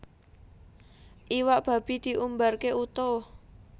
Iwak babi diumbarke utuh